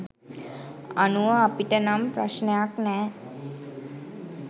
අනුව අපිට නම් ප්‍රශ්නයක් නැ.